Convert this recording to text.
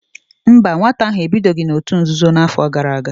Mba, nwata ahụ ebidoghị n'òtù nzuzo n'afọ gara aga